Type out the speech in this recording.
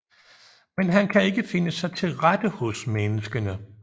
Men han kan ikke finde sig til rette hos menneskene